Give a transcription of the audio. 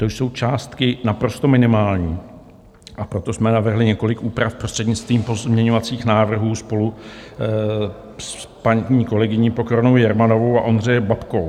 To jsou částky naprosto minimální, a proto jsme navrhli několik úprav prostřednictvím pozměňovacích návrhů spolu s paní kolegyní Pokornou Jermanovou a Ondřejem Babkou.